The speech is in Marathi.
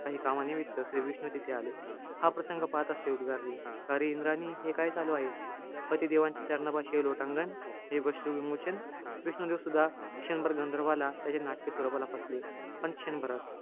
काही कामानिमित्त श्रीविष्णू तिथे आले. हा प्रसंग पाहताच ते उद्गारले. अरे इंद्राणी, हे काय चालू आहे. पतिदेवांच्या चरणापाशी लोटांगण. हे अश्रूविमोचन. विष्णुदेव सुद्धा, क्षणभर गंधर्वाला त्याच्या नाटकी स्वरुपाला फसले. पण क्षणभरच.